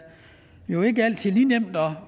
jo ikke altid lige nemt at